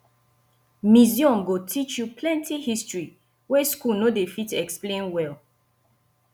museum go teach you plenty history wey school no dey fit explain well